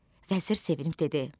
Vəzir sevindi, dedi: